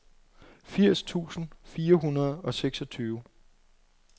firs tusind fire hundrede og seksogtyve